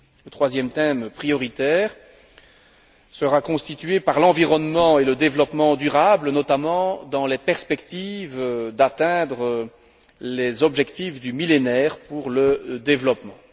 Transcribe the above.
Le troisième thème prioritaire sera constitué par l'environnement et le développement durable, notamment dans la perspective d'atteindre les objectifs du Millénaire pour le développement.